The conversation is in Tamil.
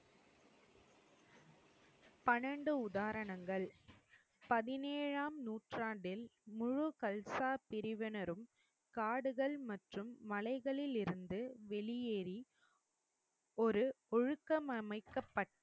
பனன்டு உதாரணங்கள். பதினேழாம் நூற்றாண்டில் முழு கல்சா பிரிவினரும் காடுகள் மற்றும் மலைகளிலிருந்து வெளியேறி ஒரு ஒழுக்கம் அமைக்கப்பட்டு,